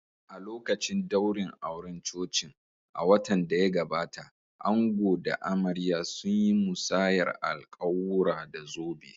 A lokacin daurin auren cocin a watan da ya gabata, ango da amarya sun yi musayar alƙawura, da zobe.